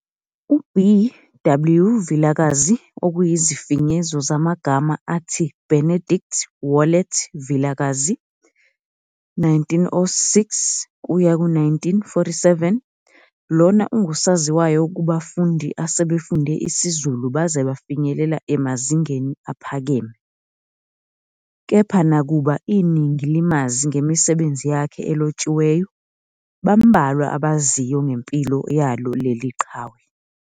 UBW Vilakazi okuyizifinyezo zamagama athi Benedict Wallet Vilakazi, 1906-1947, lona ungusaziwayo kubafundi asebefunde isiZulu baze bafinyelela emazingeni aphakeme. Kepha nakuba iningi limazi ngemisebenzi yakhe elotshiweyo, bambalwa abaziyo ngempilo yalo leli qhawe.